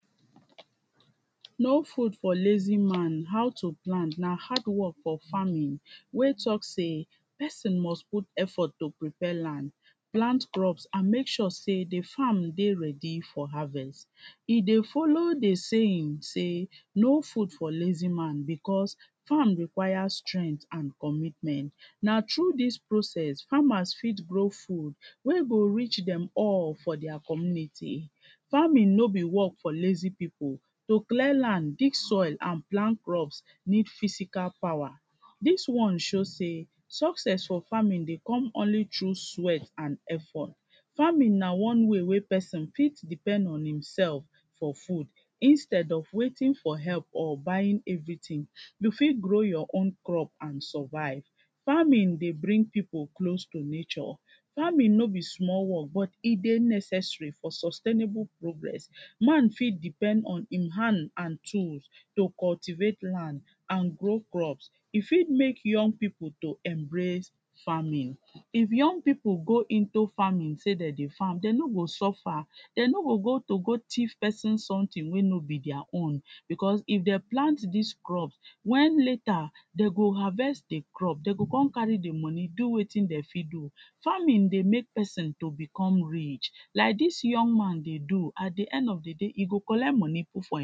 No food for lazy man, how to plant na hard work for farming wey talk sey pesin must put effort to prepare land, plant crops and make sure sey di farm dey ready for harvest, e dey follow di saying say no food for lazy man becos farm requires strength and commitment, na through dis process farmers fit grow food wey go reach dem all for dia community, farming no be work for lazy pipu, to clear land, dig soil and plant crops need physical power dis one show sey success for farming dey come only through sweat and effort. Farming na one way wey pesin fit depend on himsef for food instead of waiting for help or buying everything, you fit grow your own crop and survive, farming dey bring pipu close to nature. Farming no be small work but e dey necessary for sustainable progress, man fit depend on im hand and tools to cultivate land and grow crops, e fit make young pipu to embrace farming if young pipu go into farming sey dey dey farm dey no go suffer, dey no go go to go thief pesin sometin wey no be dia own becos if dem plant dis crop wen later dey go harvest di crop dey go kon carry di money do wetin dey fit do, farming dey make pesin to become rich like dis young man dey do at di end of di day e go collect money put for im.